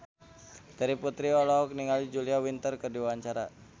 Terry Putri olohok ningali Julia Winter keur diwawancara